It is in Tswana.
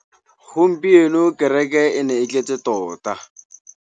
Gompieno kêrêkê e ne e tletse tota.